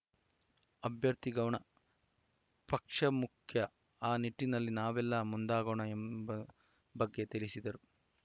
ಅಭ್ಯರ್ಥಿ ಗೌಣ ಪಕ್ಷ ಮುಖ್ಯ ಆ ನಿಟ್ಟಿನಲ್ಲಿ ನಾವೆಲ್ಲಾ ಮುಂದಾಗೋಣ ಎಂಬ ಬಗ್ಗೆ ತಿಳಿಸಿದರು